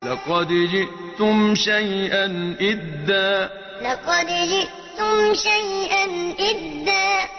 لَّقَدْ جِئْتُمْ شَيْئًا إِدًّا لَّقَدْ جِئْتُمْ شَيْئًا إِدًّا